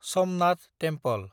Somnath temple